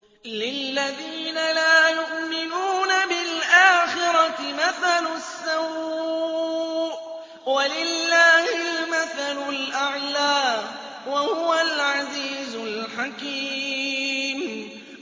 لِلَّذِينَ لَا يُؤْمِنُونَ بِالْآخِرَةِ مَثَلُ السَّوْءِ ۖ وَلِلَّهِ الْمَثَلُ الْأَعْلَىٰ ۚ وَهُوَ الْعَزِيزُ الْحَكِيمُ